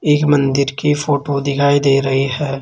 एक मन्दिर की फोटो दिखाई दे रही है।